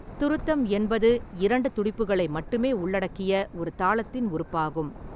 துருத்தம் என்பது இரண்டு துடிப்புகளை மட்டுமே உள்ளடக்கிய ஒரு தாளத்தின் உறுப்பாகும்.